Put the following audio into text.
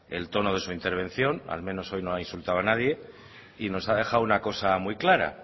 el tono de su intervención al menos hoy no ha insultado a nadie y nos ha dejado una cosa muy clara